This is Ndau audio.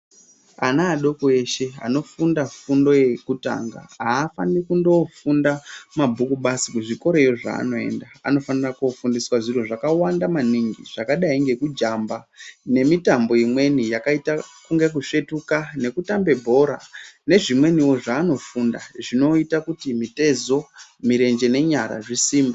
Ana adoko eshe anofunda fundo yekutanga, haafaniri kundoofunda mabhuku basi kuzvikoroyo zvaanoenda. Anofanira kofundiswa zviro zvakawanda maningi zvakadai ngekujamba, nemitambo imweni yakaita kunga kusvetuka nekutambe bhora, nezvimweniwo zvaanofunda zvinoita kuti mitezo, mirenje nenyara zvisimbe.